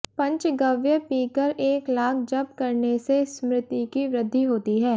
पंचगव्य पीकर एक लाख जप करने से स्मृति की वृद्धि होती है